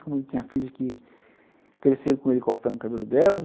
Como ele tinha filhas que cresceram com ele cortando o cabelo delas.